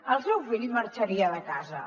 el seu fill marxaria de casa